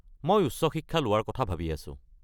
মই উচ্চ শিক্ষা লোৱাৰ কথা ভাবি আছো।